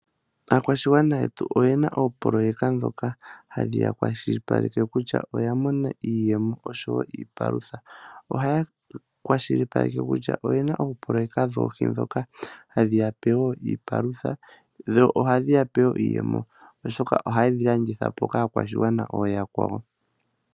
Aakwashigwana yetu oyena oopoloyeka ndhoka ha dhi ya kwa shili paleke kutya oya mona iiyemo osho tuu iipalutha, oha ya kwashilipaleka kutya oye na oopoloyeka dhoohi ndhoka ha dhi yape woo iipalutha dho oha dhi yapewoo iiyemo, osho ka oha ye dhilandithapo kaakwashigwana ooyakwawo.